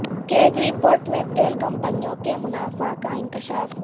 CAG report میں تیل کمپنیوں کے منافع کا انکشاف